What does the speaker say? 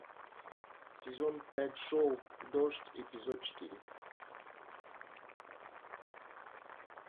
сезон пять шоу дождь эпизод четыре